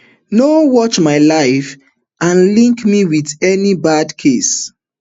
no um watch my life and um link me wit any bad case